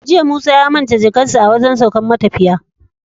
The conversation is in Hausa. Jiya musa ya manta jakar shi a wajan saukar matafiya